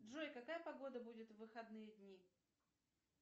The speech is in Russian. джой какая погода будет в выходные дни